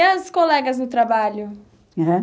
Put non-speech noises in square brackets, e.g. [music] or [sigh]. E as colegas no trabalho? [unintelligible]